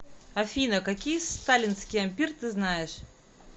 афина какие сталинский ампир ты знаешь